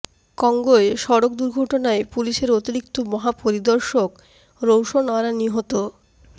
কঙ্গোয় সড়ক দুর্ঘটনায় পুলিশের অতিরিক্ত মহাপরিদর্শক রৌশন আরা নিহত